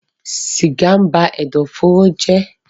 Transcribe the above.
sìgá ń ba ẹ̀dọ̀fóró jẹ́